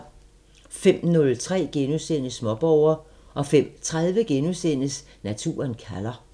05:03: Småborger * 05:30: Naturen kalder *